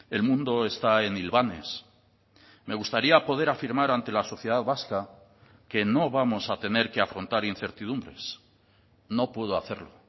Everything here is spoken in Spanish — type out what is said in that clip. el mundo está en hilvanes me gustaría poder afirmar ante la sociedad vasca que no vamos a tener que afrontar incertidumbres no puedo hacerlo